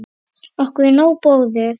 Okkur er nóg boðið